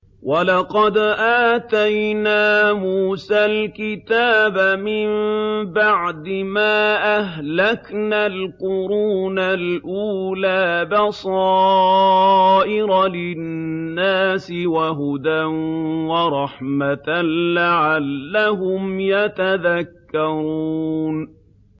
وَلَقَدْ آتَيْنَا مُوسَى الْكِتَابَ مِن بَعْدِ مَا أَهْلَكْنَا الْقُرُونَ الْأُولَىٰ بَصَائِرَ لِلنَّاسِ وَهُدًى وَرَحْمَةً لَّعَلَّهُمْ يَتَذَكَّرُونَ